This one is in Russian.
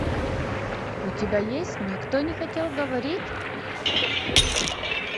у тебя есть никто не хотел говорить